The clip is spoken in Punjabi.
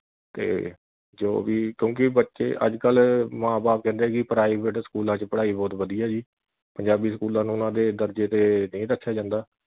ਤੇ ਜੋ ਵੀ ਕਿਉਕਿ ਬੱਚੇ ਅੱਜ ਕੱਲ ਮਾਂ ਬਾਪ ਕਹਿੰਦੇ ਕਿ private ਸਕੂਲਾਂ ਵਿਚ ਪੜਾਈ ਬਹੁਤ ਵਧੀਆਂ ਜੀ ਪੰਜਾਬੀ ਸਕੂਲਾਂ ਨੂੰ ਉਨ੍ਹਾਂ ਦੇ ਦਰਜੇ ਤੇ ਨਹੀਂ ਰੱਖਿਆ ਜਾਂਦਾ